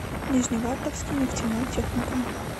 нижневартовский нефтяной техникум